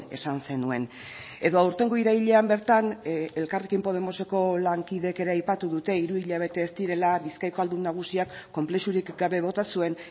esan zenuen edo aurtengo irailean bertan elkarrekin podemoseko lankideek ere aipatu dute hiru hilabete ez direla bizkaiko ahaldun nagusiak konplexurik gabe bota zuen